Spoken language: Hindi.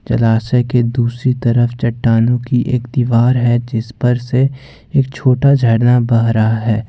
जलाशय के दूसरी तरफ चट्टानों की एक दीवार है जिस पर से एक छोटा झरना बह रहा है।